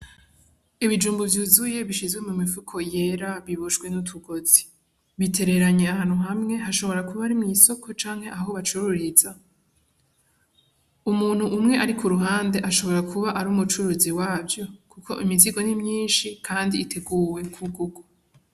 Ibijumbu vyuzuye bishizwe mu mifuko yera iboshwe n'utugozi bitereranye ahantu hamwe bishobora kuba ari mwisoko canke aho bacururiza, Umuntu umwe ari kuruhande ashobora kuba ari umucuruzi wavyo kuko imizigo nimyishi kandi iteguwe ku gurwa.